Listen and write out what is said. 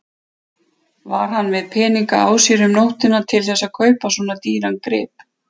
Var hann með peninga á sér um nóttina til þess að kaupa svona dýran grip?